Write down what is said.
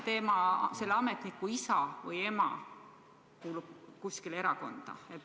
Või kui selle ametniku isa või ema kuulub mõnda erakonda?